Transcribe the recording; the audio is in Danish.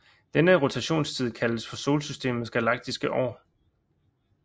Denne rotationstid kaldes for Solsystemets galaktiske år